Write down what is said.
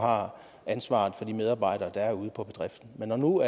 har ansvaret for de medarbejdere der er ude på bedriften men når nu